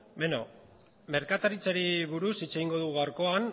beno merkataritzari buruz hitz egingo dugu gaurkoan